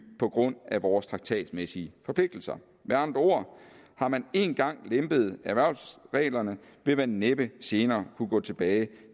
på grund af vores traktatmæssige forpligtelser med andre ord har man en gang lempet erhvervelsesreglerne vil man næppe senere kunne gå tilbage